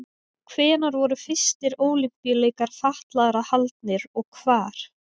Hvenær voru fyrstu Ólympíuleikar fatlaðra haldnir og hvar?